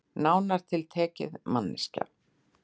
Nánar tiltekið manneskja.